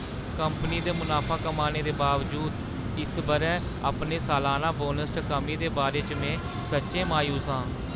Company दे मुनाफा कमाने दे बावजूद, इस बʼरै अपने सलाना बोनस च कमी दे बारे च में सच्चैं मायूस आं।